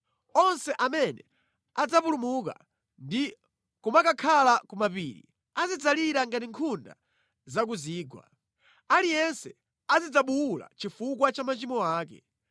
Onse amene adzapulumuka ndi kumakakhala ku mapiri, azidzalira ngati nkhunda za ku zigwa. Aliyense azidzabuwula chifukwa cha machimo ake.